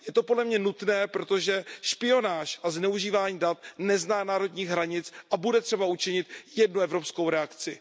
Je to podle mne nutné, protože špionáž a zneužívání dat nezná národních hranic, a bude třeba učinit jednu evropskou reakci.